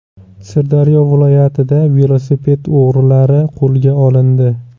Sirdaryo viloyatida velosiped o‘g‘rilari qo‘lga olindi.